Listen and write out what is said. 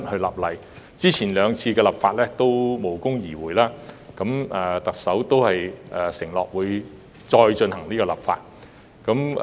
由於過去兩次的修例工作均無功而回，特首承諾會再次修例。